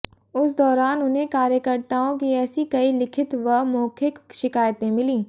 उस दौरान उन्हें कार्यकर्ताओं की ऐसी कई लिखित व मौखिक शिकायतें मिलीं